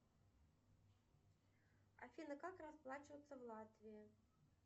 афина как расплачиваться в латвии